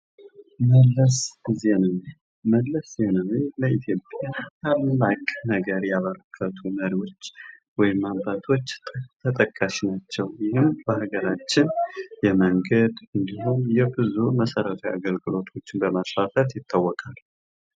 መልስ ዜናዊ፤ መለስ ዜናዊ ለኢትዮጵያ ታላቅ ነገር ያበረከቱ መሪዎች ወይም አባቶች ተጠቃሽ ናቸው። እናም በሃገራችን የመንገድ እንዲሁም የብዙ መሰረታዊ አገልግሎቶችን በማስፋፋት ይታወቃሉ።